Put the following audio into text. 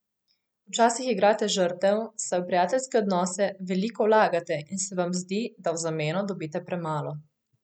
Včasih igrate žrtev, saj v prijateljske odnose veliko vlagate in se vam zdi, da v zameno dobite premalo.